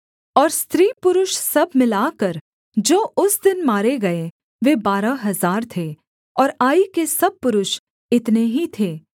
और स्त्री पुरुष सब मिलाकर जो उस दिन मारे गए वे बारह हजार थे और आई के सब पुरुष इतने ही थे